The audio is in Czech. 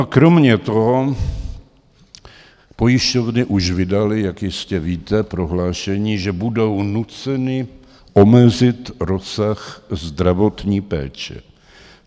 A kromě toho pojišťovny už vydaly, jak jistě víte, prohlášení, že budou nuceny omezit rozsah zdravotní péče.